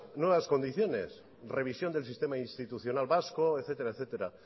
nuevas condiciones revisión del sistema institucional vasco etcétera etcétera